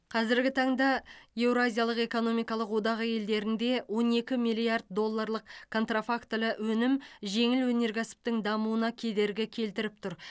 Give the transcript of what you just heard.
қазіргі таңда еуразиялық экономикалық одағы елдерінде он екі миллиард долларлық контрафактілі өнім жеңіл өнеркәсіптің дамуына кедергі келтіріп тұр